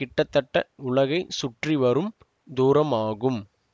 கிட்டத்தட்ட உலகை சுற்றி வரும் தூரம் ஆகும்